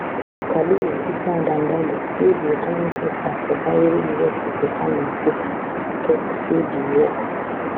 prof kabiru isa dandago wey be economic expert for bayero university for kano buk tok say di work